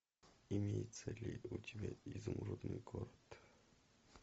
имеется ли у тебя изумрудный город